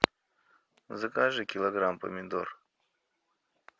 закажи килограмм помидор